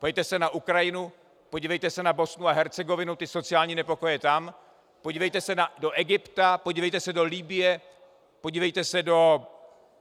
Podívejte se na Ukrajinu, podívejte se na Bosnu a Hercegovinu, ty sociální nepokoje tam, podívejte se do Egypta, podívejte se do Libye, podívejte se do...